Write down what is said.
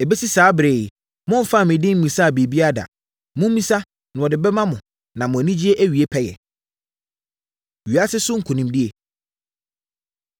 Ɛbɛsi saa ɛberɛ yi, momfaa me din mmisaa biribiara da. Mommisa na wɔde bɛma mo na mo anigyeɛ awie pɛyɛ. Wiase So Nkonimdie